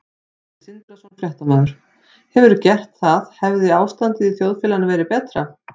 Sindri Sindrason, fréttamaður: Hefðirðu gert það hefði ástandið í þjóðfélaginu verið betra?